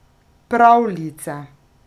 Pravljice.